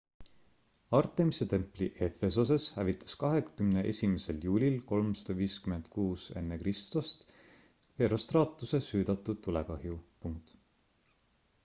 artemise templi efesoses hävitas 21 juulil 356 ekr herostratuse süüdatud tulekahju